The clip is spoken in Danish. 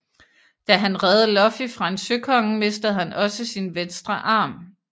Da han reddede Luffy fra en søkonge mistede han også sin venstre arm